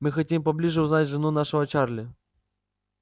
мы хотим поближе узнать жену нашего чарли